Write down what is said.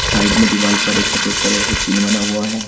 Side में दीवाल पर एक सफेद कलर से चिन्ह बना हुआ है।